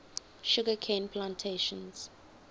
sugar cane plantations